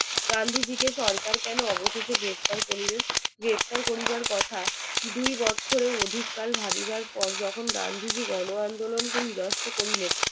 গান্ধীজি কে কেন সরকার অবশেষে গ্রেফতার করিলেন গ্রেফতার করিবার কথা দুই বছরের ও অধিক কাল ভাবিবার পর যখন গান্ধীজি গণ আন্দোলন কে নিরস্ত করিলেন